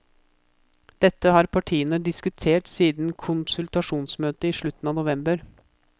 Dette har partene diskutert siden konsultasjonsmøtet i slutten av november.